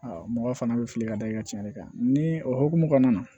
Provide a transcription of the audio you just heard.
mɔgɔ fana bɛ fili ka da i ka cɛn de kan ni o hokumu kɔnɔna na